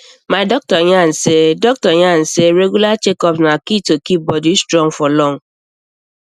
my doctor yarn say doctor yarn say regular checkups na key to keep body strong for long